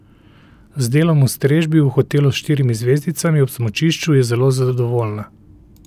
Z delom v strežbi v hotelu s štirimi zvezdicami ob smučišču je zelo zadovoljna.